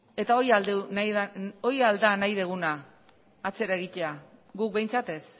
eta hori al da nahi duguna atzera egitea guk behintzat ez